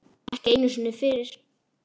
Ekki einu sinni fyrir